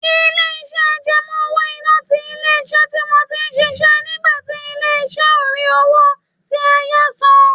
Ilé-iṣẹ́ àjẹmọ́ owó-ìná ti ilé-iṣẹ́ tí mo ti ń ṣiṣẹ́ nígbà tí ilé-ìṣẹ́ ó rí owó tí a yá san